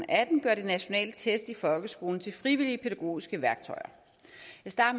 atten gør de nationale test i folkeskolen til frivillige pædagogiske værktøjer